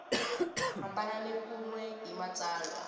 hambana kun we ni matsalwa